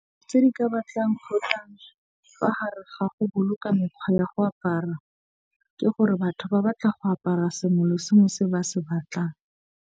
Tse di ka batlang kgotsa fa gare ga go boloka mekgwa ya go apara, ke gore batho ba batla go apara sengwe le sengwe se ba se batlang.